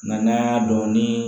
Nga n'an y'a dɔn ni